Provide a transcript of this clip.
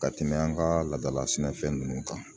Ka tɛmɛ an ka laadala sɛnɛfɛn ninnu kan